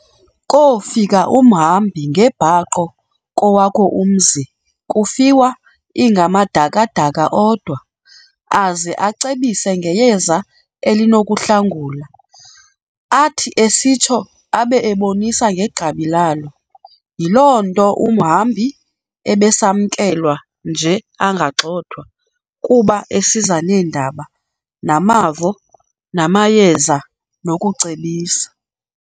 Koofika umhambi ngebhaqo kowakho umzi kufiwa ingamadaka-daka odwa, aze acebise ngeyeza elinokuhlangula, athi esitsho abe ekubonisa negqabi lalo. Yiloo nto umhambi ebesakwamkelwa nje angagxothwa, kuba esiza neendaba, namavo, namayeza nokucebisa.